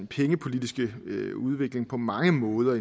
pengepolitiske udvikling på mange måder